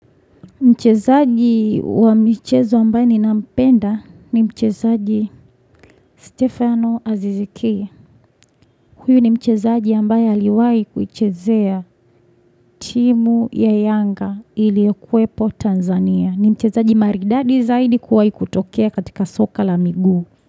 Mchezaji wa mchezo ambaye ninampenda ni mchezaji Stefano Azizikia. Huyo ni mchezaji ambaye aliwai kuchezea timu ya Yanga ili kwepo Tanzania. Ni mchezaji maridadi zaidi kuwai kutokea katika soka la migu.